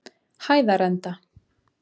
Hæðarenda